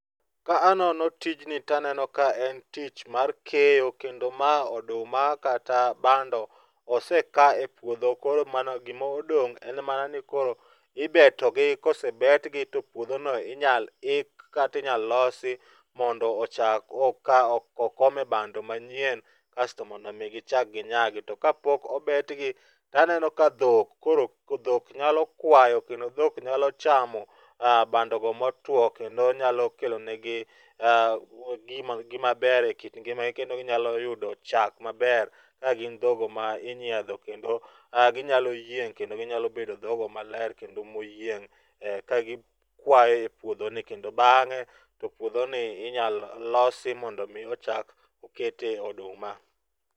Ka anono tijni taneno ka en tich mar keyo kendo ma oduma kata bando, oseka e puodho koro mana gima odong' en mana ni koro ibetogi, kosebetgi to puodhono inyalo ik kata inyalo losi mondo ochak okome bando manyien, kasto mondo omi gichak ginyag. To kapok obetgi, taneno ka dhok koro nyalo kwayo kendo dhok nyalo chamo bandogo motuwo kendo nyalo kelo negi gimaber e kit ngimagi kendo ginyalo yudo chak maber ka gin dhoggo ma inyiedho kendo ginyalo yieng' kendo ginyalo bedo dhoggo maler kendo moyieng' ka gikwayo e puodhoni, kendo bang'e puodhoni inyalo losi mondo omi ochak okete oduma.